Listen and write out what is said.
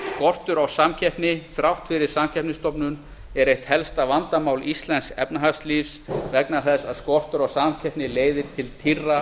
skortur á samkeppni þrátt fyrir samkeppniseftirlitið er eitt helsta vandamál íslensks efnahagslífs vegna þess að skortur á samkeppni leiðir til tíðra